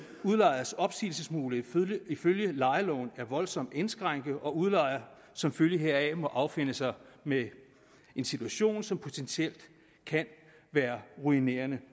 udlejers opsigelsesmulighed ifølge lejeloven er voldsomt indskrænket og udlejer som følge heraf må affinde sig med en situation som potentielt kan være ruinerende